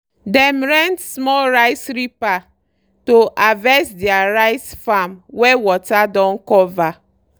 dem rent small rice reaper to harvest deir rice farm wey water don cover.